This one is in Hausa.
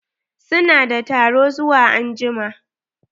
Su na da taro zuwa anjima.